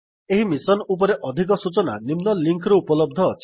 ଏହି ମିଶନ ଉପରେ ଅଧିକ ସୂଚନା ନିମ୍ନ ଲିଙ୍କ୍ ରେ ଉପଲବ୍ଧ ଅଛି